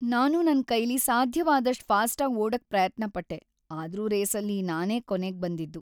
ನಾನು ನನ್ಕೈಲಿ ಸಾಧ್ಯವಾದಷ್ಟ್ ಫಾಸ್ಟಾಗ್ ಓಡೋಕ್ ಪ್ರಯತ್ನಪಟ್ಟೆ, ಆದ್ರೂ ರೇಸಲ್ಲಿ ನಾನೇ ಕೊನೇಗ್‌ ಬಂದಿದ್ದು.